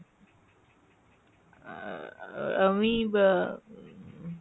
আহ আহ আমি বা মম।